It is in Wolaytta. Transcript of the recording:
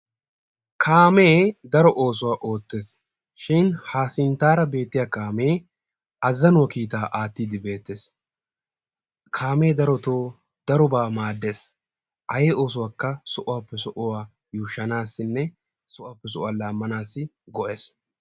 Kaamee daro oosuwa oottees shin ha sinttara beettiya kaamee azanuwaa kiitta aattidi beettees. Kaamee darotto darobba maades ay oosuwakka sohuwappe sohuwan yuushshanassinne sohuwappe sohuwa lammanassi go"es.